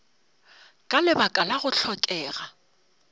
ka lebaka la go hlokega